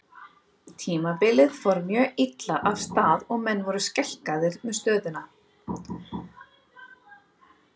Tímabilið fór mjög illa af stað og menn voru skelkaðir með stöðuna.